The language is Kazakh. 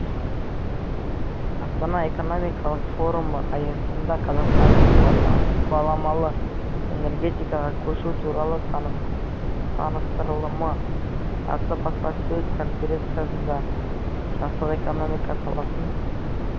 астана экономикалық форумы аясында қазақстанның баламалы энергетикаға көшу туралы таныстырылымы атты баспасөз конференциясында жасыл экономика саласын